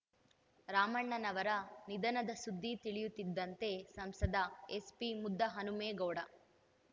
ರಾಮಣ್ಣನವರ ನಿಧನದ ಸುದ್ದಿ ತಿಳಿಯುತ್ತಿದ್ದಂತೆ ಸಂಸದ ಎಸ್ಪಿ ಮುದ್ದಹನುಮೇಗೌಡ